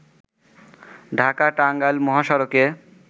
ঢাকা-টাঙ্গাইল মহাসড়কে